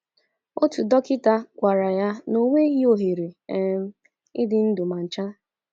Otu dọkịta gwara ya na o nweghị ohere um ịdị ndụ ma ncha.